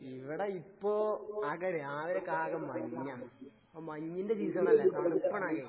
ഇവടെ ഇപ്പോ രാവിലെക്കാകെ മഞ്ഞാ. ഇപ്പ മഞ്ഞിന്റെ സീസണല്ലേ? തണുപ്പാണാകെ.